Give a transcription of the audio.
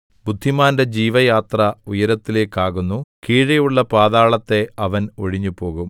ബുദ്ധിമാന്റെ ജീവയാത്ര ഉയരത്തിലേക്കാകുന്നു കീഴെയുള്ള പാതാളത്തെ അവൻ ഒഴിഞ്ഞുപോകും